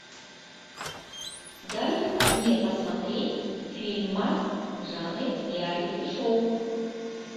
дай мне посмотреть фильмас в жанре реалити шоу